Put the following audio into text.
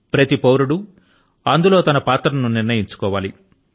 ప్రతి పౌరుడు అందులో తన పాత్ర ను నిర్ణయించుకోవాలి